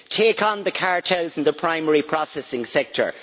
Take on the cartels and the primary processing sector.